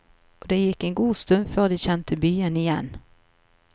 Og det gikk en god stund før de kjente byen igjen.